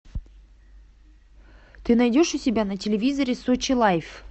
ты найдешь у себя на телевизоре сочи лайф